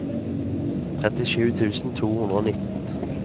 trettisju tusen to hundre og nitten